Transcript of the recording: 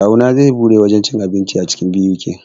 Kawuna zai buɗe wajen cin abinci a cikin BUK